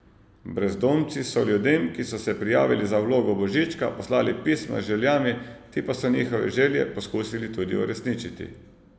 Brezdomci so ljudem, ki so se prijavili za vlogo božička, poslali pisma z željami, ti pa so njihove želje poskusili tudi uresničiti.